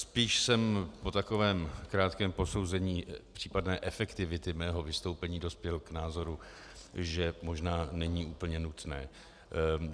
Spíš jsem po takovém krátkém posouzení případné efektivity mého vystoupení dospěl k názoru, že možná není úplně nutné.